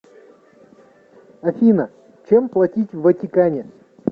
афина чем платить в ватикане